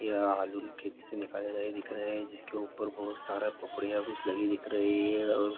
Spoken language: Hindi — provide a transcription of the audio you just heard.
यह आलू खेत से निकाला गया दिख रहे है जिसके ऊपर बहुत सारा पपड़िया कुछ लगी हुई दिख रही है और--